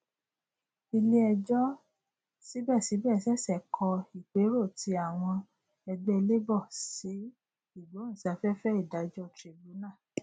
ilé ẹjọ síbẹsíbẹ ṣẹṣẹ kọ ìpérò tí àwọn ẹgbẹ labour sí igbohunsafẹfẹ ìdájọ tribunal